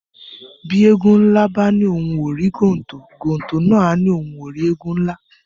Bi Ēēgun nla ba ni ohùn o ri gontò, gontò na a ni ohùn o ri Ēēgun nla